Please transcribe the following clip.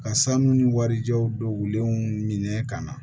Ka sanu ni warijaw donnenw minɛ ka na